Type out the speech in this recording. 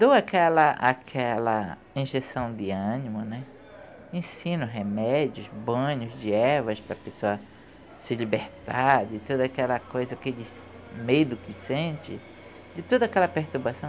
Dou aquela aquela injeção de ânimo né, ensino remédios, banhos de ervas para a pessoa se libertar de toda aquela coisa, aquele medo que sente, de toda aquela perturbação.